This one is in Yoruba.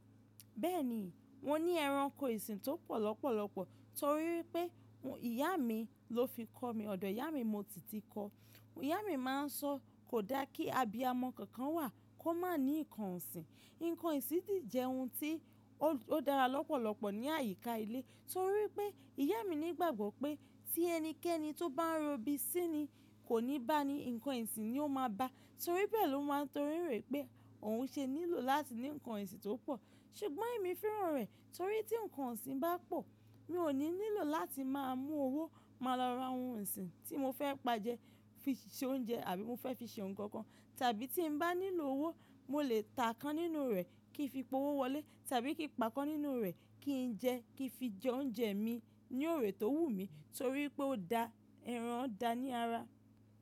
Bẹ́ẹ̀ni, mo ní ẹranko ìsìn tó pọ̀ lọ́pọ̀lọpọ̀ torí pé ìyá mi ló fi kọ́ mi, ọ̀dọ̀ ìyá mi mo sì tì kọ́. Ìyá mi máa ń sọ kò dá kí abiyamọ kankan wà kó má ní nǹkan ọ̀sìn. Nǹkan ọ̀sìn sì jẹ ohun tí ó dára lọ́pọ̀lọpọ̀ ní àyíká ilé torí pé ìyá mi nígbàgbọ́ pé tí ẹnikẹ́ni tó bá ń robi síni kò ní bá a ni, nǹkan ọ̀sìn ni ó máa bá a torí bẹ́ẹ̀ ló máa ń torí rẹ̀ pé òun ṣe nílò láti ní nǹkan ọ̀sìn tó pọ̀. Ṣùgbọ́n èmi fẹ́ràn rẹ̀ torí tí nǹkan ọ̀sìn bá pọ̀, mi ò ní nílò láti máa mú owó máa lọ ra ohun ọ̀sìn tí mo fẹ́ pa jẹ fi ṣe oúnjẹ àbí mo fẹ́ fi ṣe ohun kan kan tàbí tí n bá nílò owó, mo lè ta kan nínú rẹ̀ kí n fi powó wọlé tàbí kí n pa kan nínú rẹ̀ kí n jẹ kí n fi jẹ oúnjẹ mi ní òrè tó wù mí torí pé ó da ẹran da ní ara.